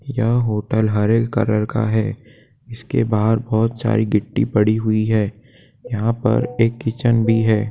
यह होटल हरे रंग कलर का है। इसके बाहर बहोत सारी गिट्टी पड़ी हुई है यहाँ पर एक किचन भी है।